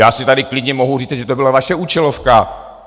Já si tady klidně mohu říci, že to byla vaše účelovka.